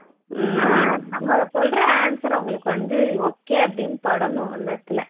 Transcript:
ஆஹ் நம்ம சொல்ற answer அவங்களுக்கு வந்து okay ன்னு படணும் அந்த இடத்துல